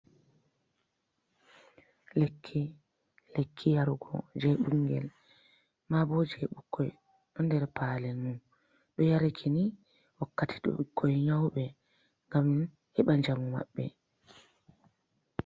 Lekki, lekki yarugo je bingel ma bo je ɓukkoi, ɗo der palel mum, ɗo yaraki ni wakkati to bikkoi nyaube gam heba jamu maɓɓe.